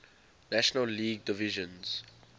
national league division